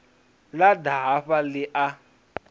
ḽa ḓa hafha ḽi a